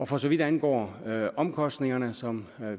for så vidt angår omkostningerne som